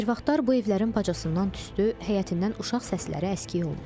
Bir vaxtlar bu evlərin bacasından tüstü, həyətindən uşaq səsləri əskik olmurdu.